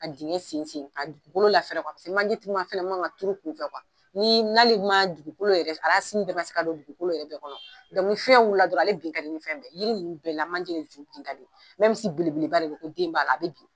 Ka dingɛ sensen ka tugukolo lafɛrɛ paseke manje min man ka tuuru kunfɛ ni n'ale ma dugukolo yɛrɛ bɛɛ ma se ka don dugukolo yɛrɛ kɔnɔ ni fiyɛn wulila dɔrɔn ale bin ka di fɛn bɛɛ ye yiri ninnu bɛɛ la manje de ju bin ka di belebeleba de don ko den b'a la a bɛ bin.